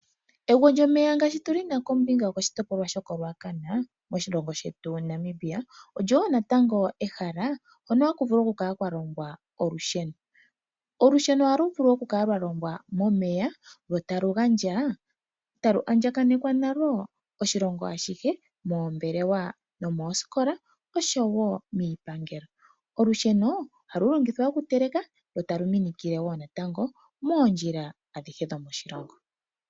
Egwo lyomeya ngaashi tu lina moNamibia koshitopolwa shaRucana olyo wo natango ehala hono kahu vulu okulongwa olusheno. Olusheno ohalu longwa momeya etalu andjakanekwa oshilongo ashihe moombelewa, oosikola noshowo iipangelo. Olusheno ohalu longithwa okuteleka lotalu minikile moondjila adhihe dhomoshilongo.